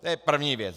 To je první věc.